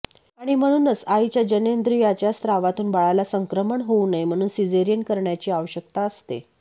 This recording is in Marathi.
आणि म्हणूनच आईच्या जननेंद्रियाच्या स्रावातून बाळाला संक्रमण होऊ नये म्हणून सिझेरियन करण्याची आवश्यकता असते